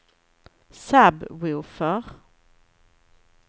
sub-woofer